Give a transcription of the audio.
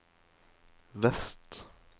vest